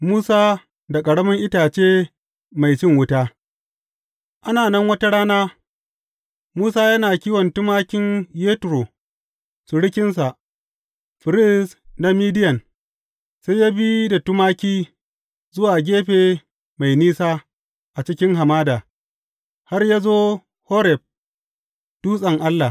Musa da ƙaramin itace mai cin wuta Ana nan wata rana Musa yana kiwon tumakin Yetro surukinsa, firist na Midiyan, sai ya bi da tumaki zuwa gefe mai nisa a cikin hamada, har ya zo Horeb, dutsen Allah.